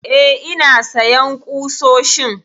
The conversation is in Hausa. Eh ina sayan ƙusoshin